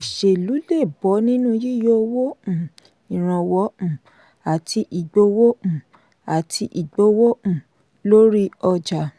òṣèlú le bọ nínú yíyọ owó um ìrànwọ́ um àti ìgbówó um àti ìgbówó um lórí ọjà.